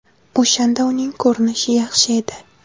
O‘shanda uning ko‘rinishi yaxshi edi.